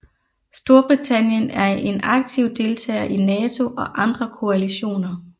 Storbritannien er en aktiv deltager i NATO og andre koalitioner